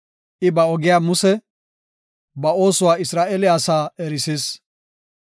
I ba ogiya Muse, ba oosuwa Isra7eele asaa erisis.